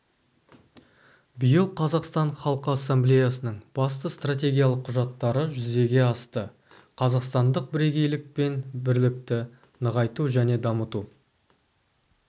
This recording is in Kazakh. биыл қазақстан халқы ассамблеясының басты стратегиялық құжаттары жүзеге асты қазақстандық бірегейлік пен бірлікті нығайту және дамыту